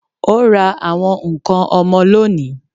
Ó ra àwọn ǹkan ọmọ lónìí